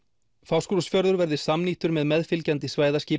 Fáskrúðsfjörður verði samnýttur með meðfylgjandi